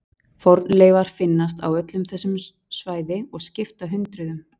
Fornleifar finnast á öllu þessu svæði og skipta hundruðum.